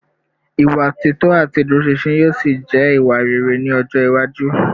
Ìwà títọ́ àti ìdúróṣinṣin yóò ṣì jẹ́ ìwà rere ní ọjọ́ iwájú